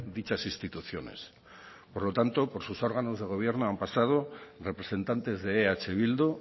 dichas instituciones por lo tanto por sus órganos de gobierno han pasado representantes de eh bildu